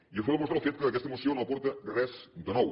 i això ho demostra el fet que aquesta moció no aporta res de nou